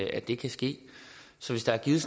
at det kan ske så hvis der er givet